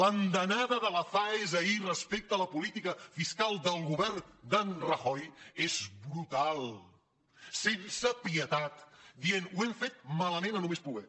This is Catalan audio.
l’andanada de la faes ahir respecte a la política fiscal del govern d’en rajoy és brutal sense pietat dient ho hem fet malament a més no poder